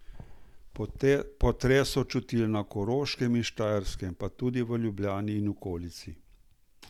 Potres so čutili na Koroškem in Štajerskem, pa tudi v Ljubljani in okolici.